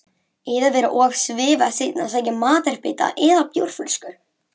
Eða vera of svifasein að sækja matarbita eða bjórflösku.